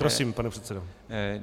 Prosím, pane předsedo.